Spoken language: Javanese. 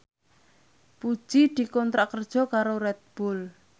Puji dikontrak kerja karo Red Bull